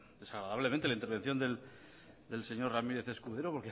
desagradablemente la intervención del señor ramírez escudero